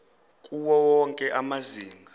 kuwo wonke amazinga